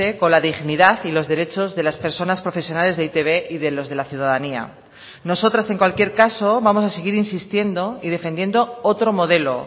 con la dignidad y los derechos de las personas profesionales de e i te be y de los de la ciudadanía nosotras en cualquier caso vamos a seguir insistiendo y defendiendo otro modelo